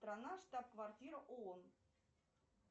страна штаб квартира оон